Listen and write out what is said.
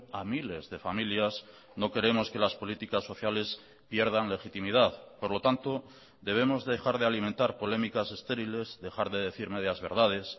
a miles de familias no queremos que las políticas sociales pierdan legitimidad por lo tanto debemos dejar de alimentar polémicas estériles dejar de decir medias verdades